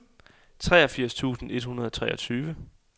treogfirs tusind et hundrede og treogtyve